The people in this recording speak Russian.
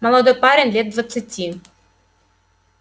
молодой парень лет двадцати